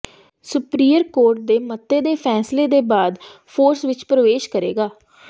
superior court ਦੇ ਮਤੇ ਦੇ ਫੈਸਲੇ ਦੇ ਬਾਅਦ ਫੋਰਸ ਵਿੱਚ ਪ੍ਰਵੇਸ਼ ਕਰੇਗਾ